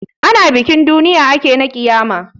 Ana bikin duniya ake na ƙiyama.